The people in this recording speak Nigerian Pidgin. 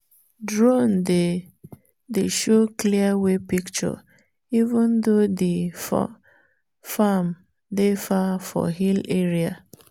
drone dey dey show clear wey picture even though the for farm dey far for hill area.